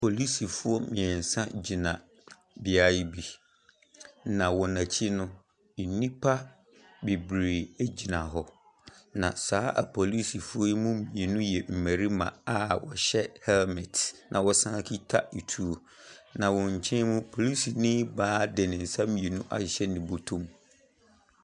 Polisifoɔ mmiɛnsa gyina beaeɛ bi, na wɔn akyi no, nnipa bebree gyina hɔ. na saa apolisifoɔ yi mu mmienu yɛ mmarima a wɔhyɛ helmet na wɔsan kita atuo. Na wɔn akyi no polisini baa de nsa mmienu ahyehyɛ ne bɔtɔ mu.